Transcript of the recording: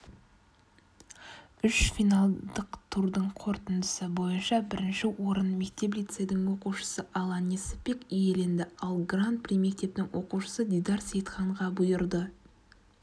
үш финалдық турдың қорытындысы бойынша бірінші орын мектеп-лицейдің оқушысы алан несіпбек иеленді ал гран-при мектептің оқушысы дидар сейітханға бұйырды